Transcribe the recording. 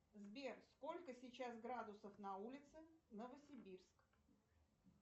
сбер сколько сейчас градусов на улице новосибирск